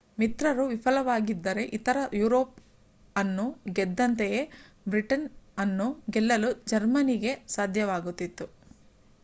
ಮಿತ್ರರು ವಿಫಲವಾಗಿದ್ದರೆ ಇತರ ಯುರೋಪ್ ಅನ್ನು ಗೆದ್ದಂತೆಯೇ ಬ್ರಿಟನ್ ಅನ್ನೂ ಗೆಲ್ಲಲು ಜರ್ಮನಿಗೆ ಸಾಧ್ಯವಾಗುತ್ತಿತ್ತು